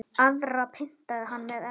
Aðra pyntaði hann með eldi.